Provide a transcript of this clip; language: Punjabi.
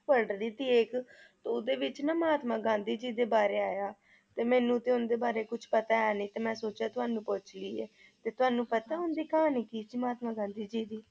ਪੜ੍ਹ ਰਹੀ ਥੀ ਇੱਕ ਤੇ ਓਹਦੇ ਵਿਚ ਨਾ ਮਹਾਤਮਾ ਗਾਂਧੀ ਜੀ ਦੇ ਬਾਰੇ ਆਇਆ ਤੇ ਮੈਨੂੰ ਤੇ ਉਨ੍ਹਾਂ ਦੇ ਬਾਰੇ ਕੁਛ ਪਤਾ ਹੈ ਨਹੀਂ, ਤੇ ਮੈ ਸੋਚਿਆ ਤੁਹਾਨੂੰ ਪੁੱਛ ਲਈਏ ਤੇ ਤੁਹਾਨੂੰ ਪਤਾ ਉਨ੍ਹਾਂ ਦੀ ਕਹਾਣੀ ਕੀ ਸੀ ਮਹਾਤਮਾ ਗਾਂਧੀ ਜੀ ਦੀ?